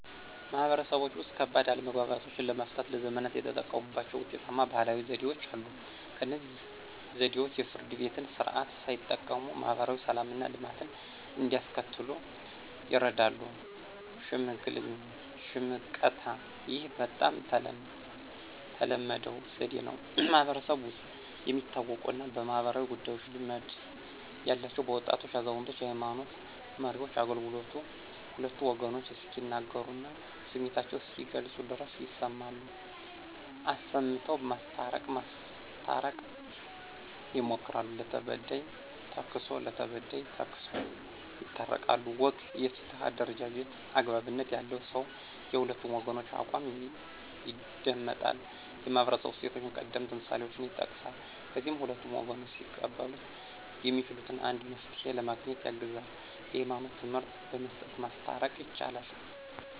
ማህበረሰቦች ውስጥ፣ ከባድ አለመግባባቶችን ለመፍታት ለዘመናት የተጠቀሙባቸው ውጤታማ ባህላዊ ዘዴዎች አሉ። እነዚህ ዘዴዎች የፍርድ ቤትን ስርዓት ሳይጠቀሙ ማህበራዊ ሰላምና ልማትን እንዲያስከትሉ ይርዳሉ። ሽምቀታ (፦ ይህ በጣም ተለመደው ዘዴ ነው። በማህበረሰቡ ውስጥ የሚታወቁና በማኅበራዊ ጉዳዮች ልምድ ያላቸው (በወጣቶች፣ አዛውንቶች፣ የሃይማኖት መሪዎች) አገልግሎቱ ሁለቱም ወገኖች እስኪናገሩና ስሜታቸውን እስኪገልጹ ድረስ ይሰማሉ፣ አሰምተው ማስታረቅ ማስታረቅ ይሞክራሉ። ለተበዳይ ተክስሶ ለበዳይ ተክሶ ይታረቃሉ። ወግ (የፍትህ አደረጃጀት)፦ )" አግባብነት ያለው ሰው የሁለቱን ወገኖች አቋም ይደመጣል፣ የማህበራዊ እሴቶችንና ቀደምት ምሳሌዎችን ይጠቅሳል፣ ከዚያም ሁለቱም ወገኖች ሊቀበሉት የሚችሉትን አንድ መፍትሄ ለማግኘት ያግዛል። የህይማኖት ትምህርት በመስጠት ማስታረቅ። ይቻላል